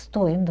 Estou indo.